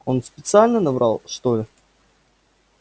он специально наврал что ли